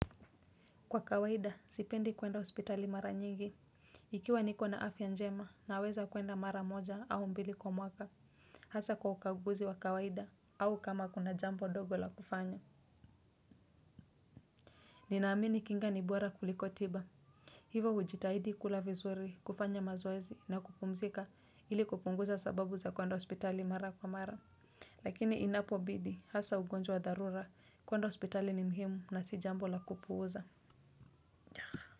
Kwa kawaida, sipendi kuenda hospitali mara nyingi. Ikiwa niko na afya njema naweza kuenda mara moja au mbili kwa mwaka. Hasa kwa ukaguzi wa kawaida au kama kuna jambo dogo la kufanya. Ninaamini kinga ni bora kuliko tiba. Hivo hujitahidi kula vizuri, kufanya mazoezi na kupumzika ili kupunguza sababu za kuenda hospitali mara kwa mara. Lakini inapo bidi, hasa ugonjwa wa dharura kuenda hospitali ni muhimu na si jambo la kupuuza.